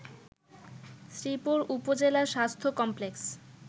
শ্রীপুর উপজেলা স্বাস্থ্য কমপ্লেক্স